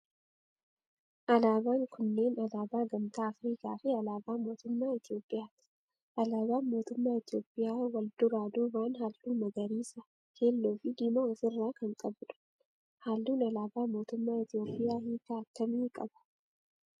alaabaan kunneen alaabaa gamtaa Afrikaa fi alaabaa mootummaa Itiyoophiyaati. Alaabaan mootummaa Itiyoophiyaa wal duraa duuban halluu magariisa, keelloo fi diimaa of irraa kan qabudha. Halluun alaabaa mootummaa itiyoophiyaa hiika akkamii qaba?